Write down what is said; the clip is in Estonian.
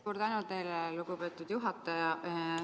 Suur tänu teile, lugupeetud juhataja!